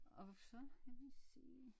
Og så kan vi se